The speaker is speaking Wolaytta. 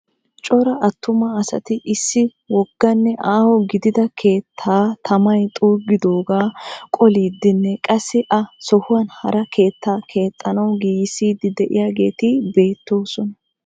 Cora attuma asati issi wogganne aaho gidida keettaa tamay xuugidoogaa qoliiddinne qassi a sohuwaani hara keettaa keexxanawu giigissiiddi diyageeti beettoosona.